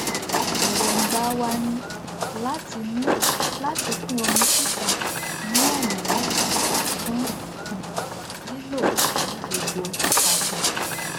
èróńgbà wa ni láti ni láti pín omi síta ní ọnà méta fún um lílò ní gbogbo agbon